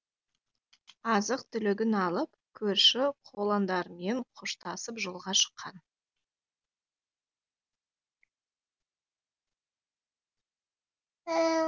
азық түлігін алып көрші қолаңдармен қоштасып жолға шыққан